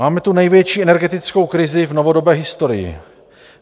Máme tu největší energetickou krizi v novodobé historii.